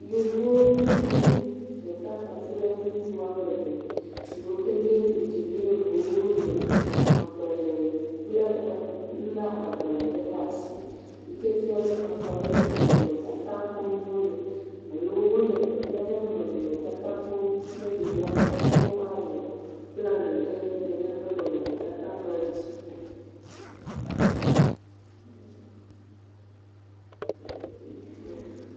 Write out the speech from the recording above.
Yevu nyɔnu ɖeka kpakple ŋutsu woame eve yiwo ke nye ŋdziniawo le agbalẽ kple xɔ lé agbalẽ ɖe ɖe asi yi ke fia be xɔ aɖe ƒe nɔnɔmetata kpɔm wole alo wole teƒe aɖe ƒe nɔnɔmetata kpɔm ne yewo ate ŋu awɔ plani ɖe nenem ƒe nɔnɔmetata ma ŋuti.